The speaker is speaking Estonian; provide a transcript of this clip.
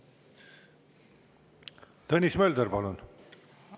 Tõnis Mölder, palun!